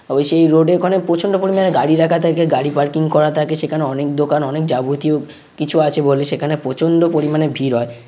তবে সেই রোড -এ এখানে প্রচন্ড পরিমাণে গাড়ি রাখা থাকে গাড়ি পার্কিং করা থাকে সেখানে অনেক দোকান অনেক যাবতীয় কিছু আছে বলে সেখানে প্রচন্ড পরিমাণে ভিড় হয় ।